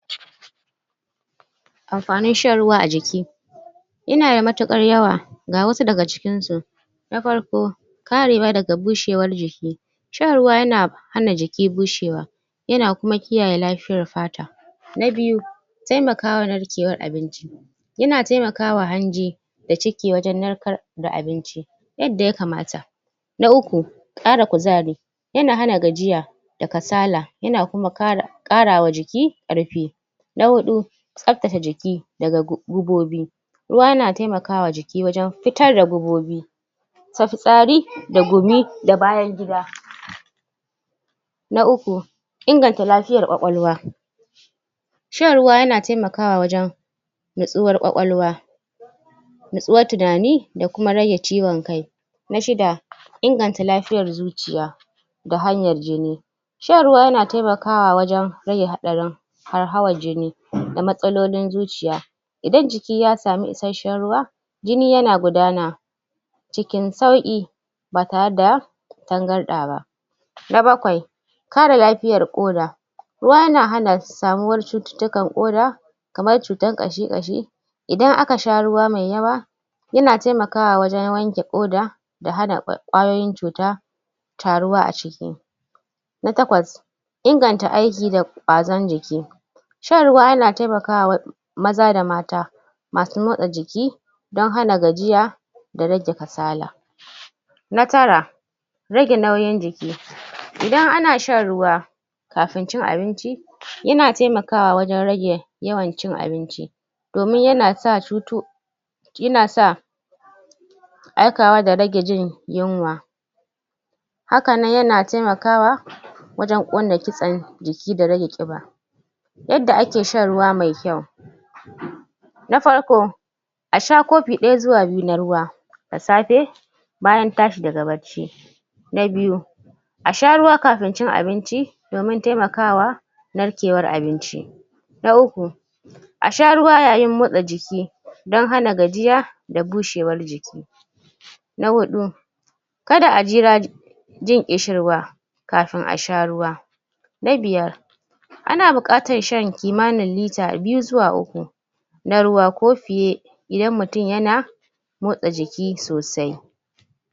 Amfanin shan ruwa a jiki yana da matuƙar yawa, ga wasu daga cikinsu Na farko karewa daga bushewar jiki. shan ruwa yana hana jiki bushewa. yana kuma kiyaye lafiyar fata. Na biyu taimakawa narkewar abinci. yana taimaka wa hanji da ciki wajen narkar da abinci yadda ya kamata. Na uku, ƙara kuzari yana hana gajiya da kasala yana kuma ƙara wa jiki ƙarfi. Na huu tsabtace jiki da ga gubobi. Ruwa na taimaka ma jiki wajen fitar da gubobi. ta fitsari da gumi da bayan gida. Na uku inganta lafiyar ƙwaƙwalwa Shan ruwa yana taimakawa wajen natsuwar ƙwaƙwalwa. Natsuwar tunani da kuma rage ciwon kai. Na shida, inganta lafiyar zuciya. da hanyar jin. Shan ruwa yana taimkawa wajen rage hatsarin hauhawar jini da matsalolin zuciya. Idan jiki ya samu isasshen ruwa, jini yana gudana cikin sauƙi. ba tare da tangarɗa ba. na bakwai kare lafiyar ƙoda. ruwa yana hana samuwar cututtukan ƙoda kamar cuta ƙashi-ƙashi Idan aka sha ruwa mai yawa yana taimakawa wajen wanke ƙoda da hana ƙwayoyin cuta taruwa a ciki na takwas inganta aiki da ƙwazon jiki Sahan ruwa yana taimakawa maza da mata Masu motsa jiki don hana gajiya da kasala. Na tara rage nauyin jiki. I dan ana shan ruwa kafin cin abinci yana taimakawa wajen rage yawan cin abinci. damin yana sa yana sa aikawa da rage jin yunwa haka nan yana taimakawa wajen ƙona kitsan jiki da rage ƙiba. yadda ake shan ruwa mai kyau Na farko a sha kofi ɗaya zuwa biyu na ruwa da safe bayan tashi daga bacci na biyu a sha ruwa kafin cin abinci domin taimaka wa narkewar abinci na uku a sha ruwa ya yin motsa jiki don hana gajiya da bushewar jiki na huɗu ka da a jira jin ƙishirwa kafin a sha ruwa na biyar ana buƙatar shan kimanin lita biyu zuwa uku na ruwa ko fiye idan mutum yana motsa jiki sosai.